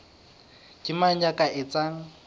ke mang ya ka etsang